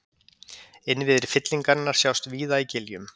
Innviðir fyllingarinnar sjást víða í giljum.